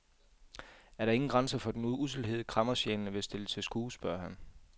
Er der ingen grænser for den usselhed, kræmmersjælene vil stille til skue, spørger han.